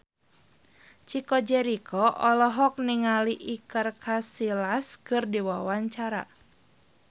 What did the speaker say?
Chico Jericho olohok ningali Iker Casillas keur diwawancara